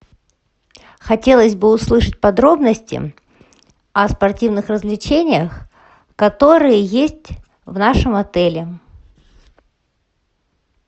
хотелось бы услышать подробности о спортивных развлечениях которые есть в нашем отеле